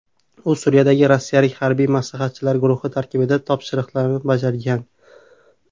U Suriyadagi rossiyalik harbiy maslahatchilar guruhi tarkibida topshiriqlarni bajargan.